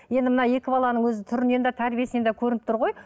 енді мына екі баланың өзі түрінен де тәрбиесінен де көрініп тұр ғой